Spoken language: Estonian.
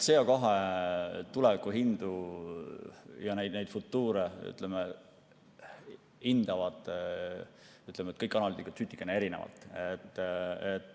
CO2 tulevikuhindu ja neid futuure hindavad kõik analüütikud tsutikene erinevalt.